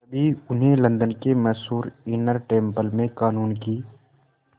तभी उन्हें लंदन के मशहूर इनर टेम्पल में क़ानून की